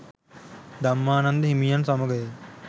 ධම්මානන්ද හිමියන් සමඟය.